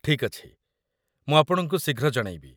ଠିକ୍ ଅଛି, ମୁଁ ଆପଣଙ୍କୁ ଶୀଘ୍ର ଜଣେଇବି।